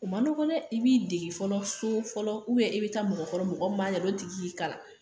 A man nɔgɔ dɛ, i b'i dege fɔlɔ so, i bɛ taa mɔgɔ kɔrɔ mɔgɔ min b'a ɲɛdɔn o tigik'i kalan.